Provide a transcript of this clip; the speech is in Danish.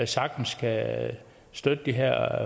sagtens kan støtte de her